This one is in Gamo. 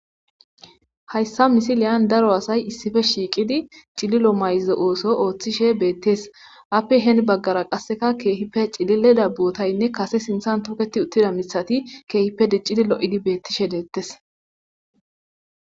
Ha..yssa misileyan daro asay issife shiiqidi cililo mayze ooso ooththishe beettes appe heen baggara qasseka keehippe cilile dabbuotaynne kase sinthan toketi uttida misati keehippe diccidi lo7idi beettishe deettes